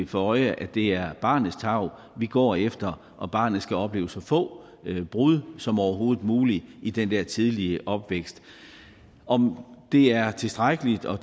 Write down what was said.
for øje at det er barnets tarv vi går efter og at barnet skal opleve så få brud som overhovedet muligt i den der tidlige opvækst om det er tilstrækkeligt og